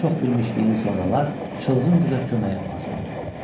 Bu çoxbilmişliyin sonralar çılğın qıza köməyi az oldu.